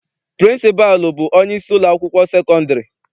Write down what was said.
Pịrịnsịpalụ bụ onyeisi ụlọakwụkwọ sekọndịrị.